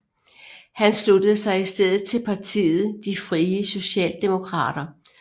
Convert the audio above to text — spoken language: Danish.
Han sluttede sig i stedet til partiet De Frie Socialdemokrater